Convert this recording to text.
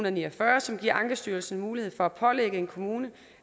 og ni og fyrre som giver ankestyrelsen mulighed for at pålægge en kommune